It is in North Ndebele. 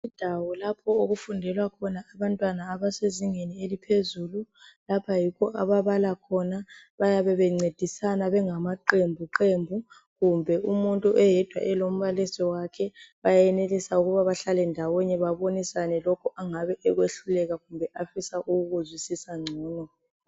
Indawo lapho okufundela khona abantwana abasezingeni eliphezulu. Lapha yikho ababala khona, bayabe bencedisana bengamaqembuqembu kumbe umuntu eyedwa elombalisi wakhe bayenelisa ukuba bahlale ndawonye babonisane lokho angabe ekwehluleka kumbe afisa ukukuzwisisa ngcono.